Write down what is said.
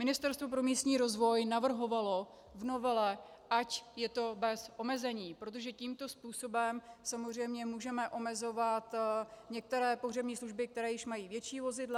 Ministerstvo pro místní rozvoj navrhovalo v novele, ať je to bez omezení, protože tímto způsobem samozřejmě můžeme omezovat některé pohřební služby, které již mají větší vozidla.